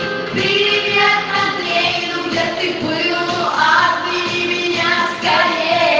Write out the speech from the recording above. вере ты было меня